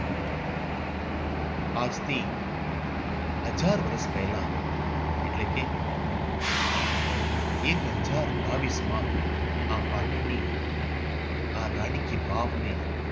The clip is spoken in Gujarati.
આજથી હજાર વર્ષ પહેલા એટલે કે એક હજાર બાવીસમાં આ પાટણની આ રાણી કી વાવને